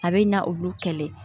A bɛ na olu kɛlɛ